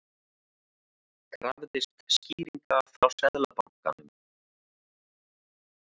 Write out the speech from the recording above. Krafðist skýringa frá Seðlabankanum